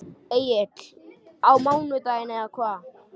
Egill: Á mánudaginn eða hvað?